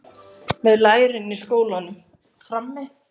Með lærin í skónum.